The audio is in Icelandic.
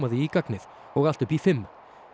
því í gagnið og allt upp í fimm